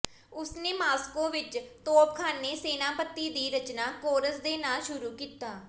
ਉਸ ਨੇ ਮਾਸਕੋ ਵਿਚ ਤੋਪਖਾਨੇ ਸੈਨਾਪਤੀ ਦੀ ਰਚਨਾ ਕੋਰਸ ਦੇ ਨਾਲ ਸ਼ੁਰੂ ਕੀਤਾ